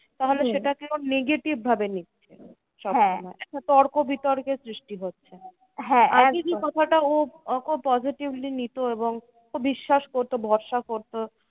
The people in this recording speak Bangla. তাহলে সেটাকে ও negative ভাবে নিচ্ছে। একটা তর্ক বিতর্কের সৃষ্টি হচ্ছে। আগে কি? কথাটা ও খুব positively নিতো এবং ও বিশ্বাস করতো ভরসা করতো।